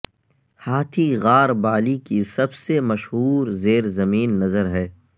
ہاتھی غار بالی کی سب سے مشہور زیر زمین نظر ہے